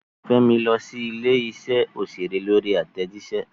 Fẹ́mi lọ sí ilé-iṣẹ́ òṣèré lórí àtẹ̀jíṣẹ́.